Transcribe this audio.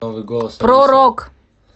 про рок